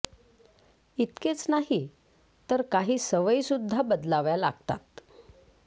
इतकेच नाही तर काही सवयी सुद्धा बदलाव्या लागतात